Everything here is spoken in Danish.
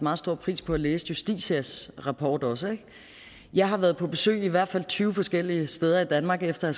meget stor pris på at læse justitias rapport også jeg har været på besøg i hvert fald tyve forskellige steder i danmark efter at